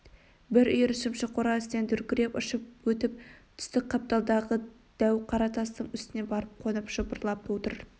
бір үйір шымшық қора үстінен дүркіреп ұшып өтіп түстік қапталдағы дәу қара тастың үстіне барып қонып жыпырлап отыр